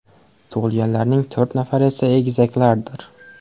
Tug‘ilganlarning to‘rt nafari esa egizaklardir.